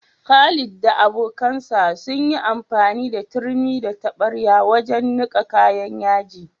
Khalid da abokansa sun yi amfani da turmi da taɓarya wajen niƙa kayan yaji.